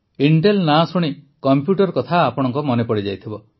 Intel ନାଁ ଶୁଣି computer କଥା ଆପଣଙ୍କ ମନେ ପଡ଼ିଯାଇଥିବ